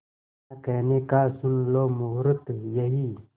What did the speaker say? ना कहने का सुन लो मुहूर्त यही